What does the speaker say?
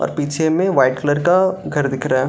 और पीछे में वाइट कलर का घर दिख रहा है।